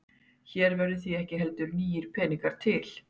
Hér verða því ekki heldur nýir peningar til.